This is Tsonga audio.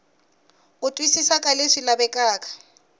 ku twisisa ka leswi lavekaka